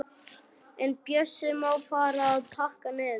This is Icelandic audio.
En Bjössi má fara að pakka niður.